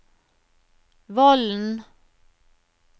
Vollen